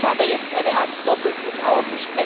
Auch ich habe jetzt eine Art Doppelhut auf.